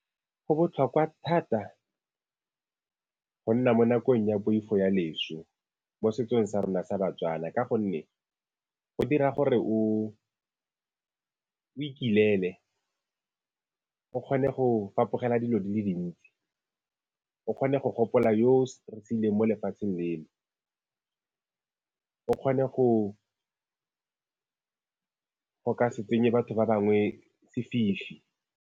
Go botlhokwa thata go nna mo nakong ya poifo ya leso mo setsong sa rona sa baTswana, ka gonne go dira gore o ikilele o kgone go fapogela dilo di le dintsi, o kgone go gopola yo mo lefatsheng leno, o kgone go ka se tsenye batho ba bangwe sefifi.